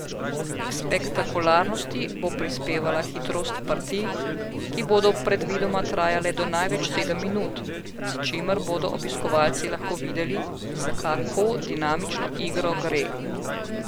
K spektakularnosti bo prispevala hitrost partij, ki bodo predvidoma trajale do največ sedem minut, s čimer bodo obiskovalci lahko videli, za kako dinamično igro gre.